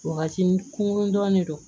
Wagati kunŋun dɔnnen don